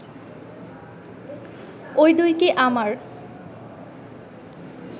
ঐ দুইটি আমার